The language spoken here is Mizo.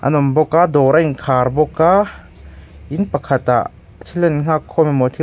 an awm bawka dawr a inkhar bawk a in pakhatah thil an nghakkhawm emaw--